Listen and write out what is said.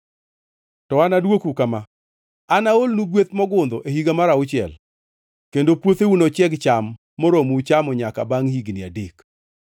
To anadwoku kama: Anaolnu gweth mogundho e higa mar auchiel, kendo puotheu nochieg cham moromou chamo nyaka bangʼ higni adek.